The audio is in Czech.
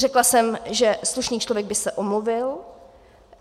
Řekla jsem, že slušný člověk by se omluvil.